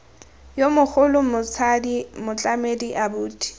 yo mogolo motsadi motlamedi abuti